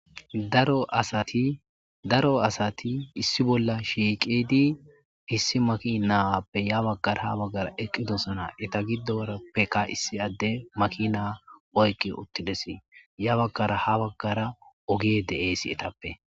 daro asati issi bolla shiiqidi issi maki naawappe ya baggara ha baggara eqqidosona eta giddo arappeka issi adde makina oyqi uttidesi ya baggara ha baggara ogi de7eesi etappe